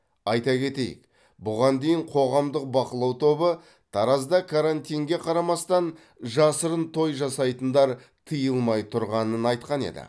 айта кетейік бұған дейін қоғамдық бақылау тобы таразда карантинге қарамастан жасырын той жасайтындар тыйылмай тұрғанын айтқан еді